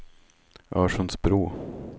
Örsundsbro